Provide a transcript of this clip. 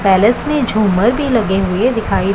palace में झूमर भी लगे हुए दिखाई--